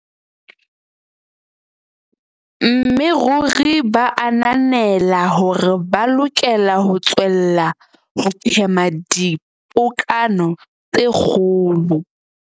Mme ruri ba ananela hore ba lokela ho tswella ho phema dipokano tse kgolo.